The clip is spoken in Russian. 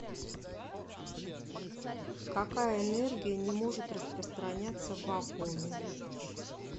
какая энергия не может распространяться в вакууме